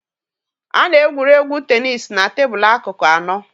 A na-egwuri egwu tenis na tebụl akụkụ anọ.